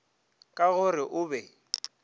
ka go re o be